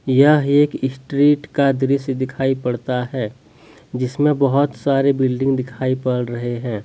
यह एक स्ट्रीट का दृश्य दिखाई पड़ता है जिसमें बहुत सारे बिल्डिंग दिखाई पड़ रहे हैं।